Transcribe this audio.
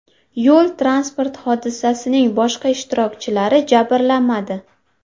Yo‘l-transport hodisasining boshqa ishtirokchilari jabrlanmadi.